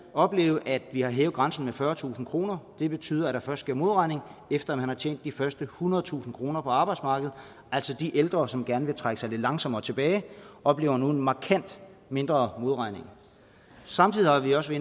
opleve at vi har hævet grænsen med fyrretusind kroner det betyder at der først sker modregning efter man har tjent de første ethundredetusind kroner på arbejdsmarkedet så de ældre som gerne vil trække sig lidt langsommere tilbage oplever nu en markant mindre modregning samtidig har vi også